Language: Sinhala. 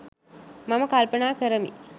මම කල්පනා කරමි.